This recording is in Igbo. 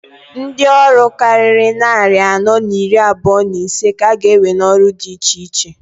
Ndi ọrụ kariri nnarị anọọ n'iri abụa n'isee k'a ga ewe n'ọrụ dị iche iche.